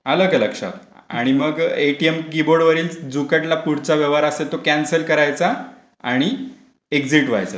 आलका लक्षात. आणि मग ते एटीएम कीबोर्ड. वरचा जो कटला. पुढचा व्यवहार असेल तर कॅन्सल करायचा आणि एक्झिट व्हायचे त्याच्याव